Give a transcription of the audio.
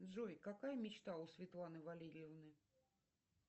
джой какая мечта у светланы валерьевны